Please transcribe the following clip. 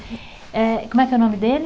Eh, como é que é o nome dele?